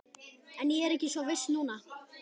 En ég er ekki svo viss núna